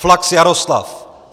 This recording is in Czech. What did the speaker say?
Flachs Jaroslav